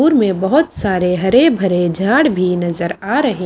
दूर में बहुत सारे हरे भरे झाड़ भी नजर आ रहे --